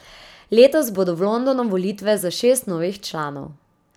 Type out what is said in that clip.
Letos bodo v Londonu volitve za šest novih članov.